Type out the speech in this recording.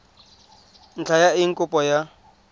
ntlha ya eng kopo ya